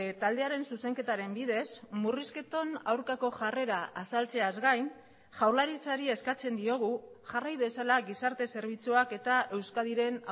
taldearen zuzenketaren bidez murrizketan aurkako jarrera azaltzeaz gain jaurlaritzari eskatzen diogu jarrai dezala gizarte zerbitzuak eta euskadiren